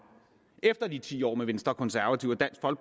efter de ti år med venstre konservative